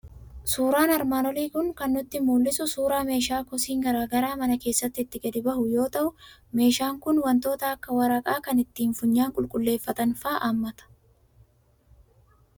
Suuraan armaan olii kan inni nutti mul'isu suuraa meeshaa kosiin garaa garaa mana keessaa itti gadi bahu yoo ta'u, meeshaan kun wantoota akka waraqaa, kan itti funyaan qulqulleeffatan fa'a hammata.